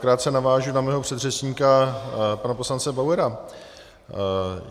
Krátce navážu na svého předřečníka pana poslance Bauera.